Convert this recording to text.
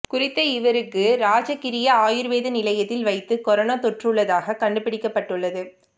குறித்த இருவருக்கு ராஜகிரிய ஆயுர்வேத நிலையத்தில் வைத்து கொரோனா தொற்றியுள்ளதாக கண்டுபிடி்கப்பட்டுள்ளது